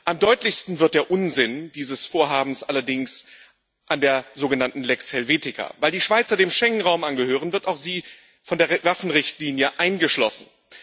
Am deutlichsten wird der Unsinn dieses Vorhabens allerdings an der sogenannten Lex Helvetica Weil die Schweizer dem Schengenraum angehören, wird auch sie von der Waffenrichtlinie eingeschlossen.